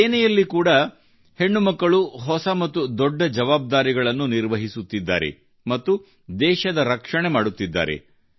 ಸೇನೆಯಲ್ಲಿ ಕೂಡಾ ಹೆಣ್ಣು ಮಕ್ಕಳು ಹೊಸ ಮತ್ತು ದೊಡ್ಡ ಜವಾಬ್ದಾರಿಗಳನ್ನು ನಿರ್ವಹಿಸುತ್ತಿದ್ದಾರೆ ಮತ್ತು ದೇಶದ ರಕ್ಷಣೆ ಮಾಡುತ್ತಿದ್ದಾರೆ